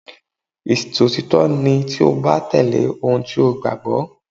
Ìṣòtítọ́ ni tí o bá tẹ̀lé ohun tí o gbàgbọ́.